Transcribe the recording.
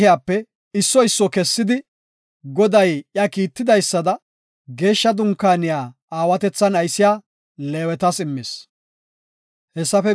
Hessafe guye, tora moconati, shaalaqatinne mato halaqati Museko shiiqidi,